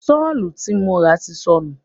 Sọ́ọ̀ tí mo rà ti sọnù.